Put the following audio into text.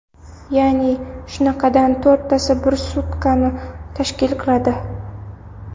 Ya’ni, shunaqadan to‘rttasi bir sutkani tashkil qiladi.